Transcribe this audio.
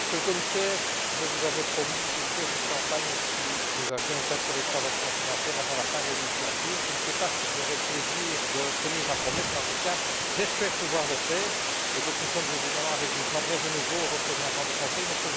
Monsieur le Président, Monsieur le Commissaire, je vous avais promis une caisse de champagne si nous avions une taxe sur les transactions financières avant la fin de la législature. Je ne sais pas si j'aurai le plaisir de tenir ma promesse mais, en tout cas, j'espère pouvoir le faire et donc, nous sommes évidemment avec vous. Je m'adresse de nouveau au représentant du Conseil, M.